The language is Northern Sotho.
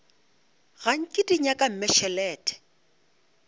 ga nke di nyaka mmešelet